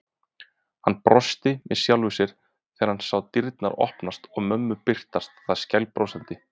Hann brosti með sjálfum sér þegar hann sá dyrnar opnast og mömmu birtast þar skælbrosandi.